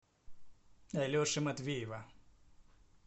алеши матвеева